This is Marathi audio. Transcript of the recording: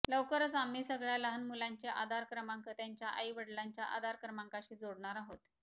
लवकरच आम्ही सगळ्या लहान मुलांचे आधार क्रमांक त्यांच्या आई वडिलांच्या आधार क्रमांकाशी जोडणार आहोत